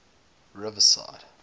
riverside